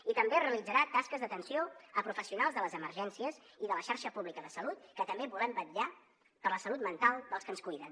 i també realitzarà tasques d’atenció a professionals de les emergències i de la xarxa pública de salut que també volem vetllar per la salut mental dels que ens cuiden